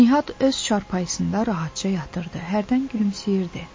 Nihad öz çarpayısında rahatca yatırdı, hərdən gülümsəyirdi.